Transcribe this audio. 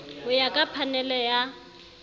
ho ya ka phanele ya